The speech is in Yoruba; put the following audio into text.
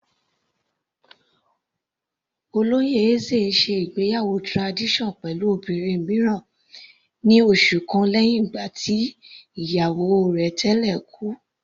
Olóyè Eze ń ṣe ìgbéyàwó tradition pẹ̀lú obìnrin mìíràn ní oṣù kan lẹ́hìn tí ìyàwó rẹ̀ tẹ́lẹ̀ kú.